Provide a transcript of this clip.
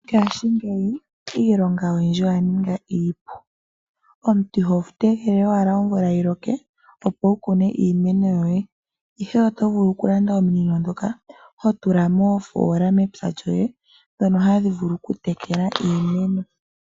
Ngashi ngeyi iilonga oyindji oya ninga iipu. Omuntu iho tegelele wala omvula yiiloke Opo wu kune iimeno yoye ihe oto vulu oku landa ominino dhoka ho tula mofoola mepya lyoe dhoka hadhi vulu oku tekela iimeno